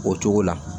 O cogo la